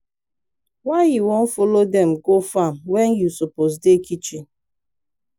why you wan follow dem go farm when you suppose dey kitchen?